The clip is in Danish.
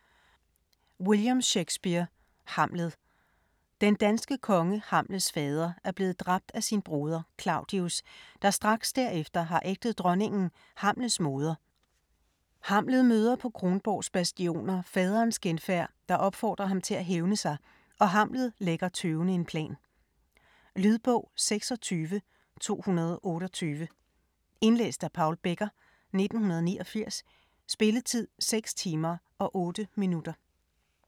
Shakespeare, William: Hamlet Den danske konge, Hamlets fader, er blevet dræbt af sin broder Claudius, der straks derefter har ægtet dronningen, Hamlets moder. Hamlet møder på Kronborgs bastioner faderens genfærd, der opfordrer ham til at hævne sig, og Hamlet lægger tøvende en plan. Lydbog 26228 Indlæst af Paul Becker, 1989. Spilletid: 6 timer, 8 minutter.